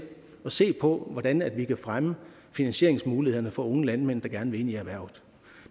at se på hvordan vi kan fremme finansieringsmulighederne for unge landmænd der gerne vil ind i erhvervet